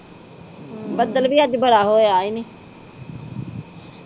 ਬੱਦਲ ਵੀ ਅੱਜ ਬੜਾ ਹੋਇਆ ਇਨੇ